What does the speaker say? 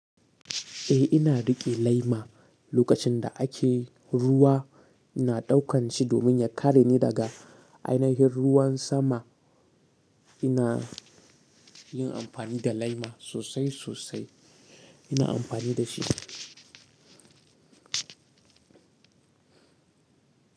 Eh ina riƙe laima lokacin da ake ruwa, ina ɗaukan shi domin ya kare ni daga ainihin ruwan sama. Ina yin amfani da laima sosai sosai. Ina amfani da shi.